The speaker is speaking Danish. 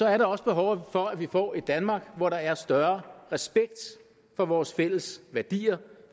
er også behov for at vi får et danmark hvor der er større respekt for vores fælles værdier